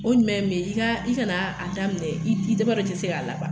O ɲuman ye min ye i ka i kana a daminɛ, i t'i i b'a dɔn i ti se k'a laban